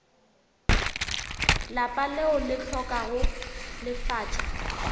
lapa leo le hlokago lefatša